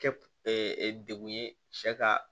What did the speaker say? Kɛ degun ye sɛ ka